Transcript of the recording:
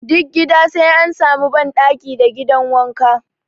Duk gida sai an sami ban ɗaki da gidan wanka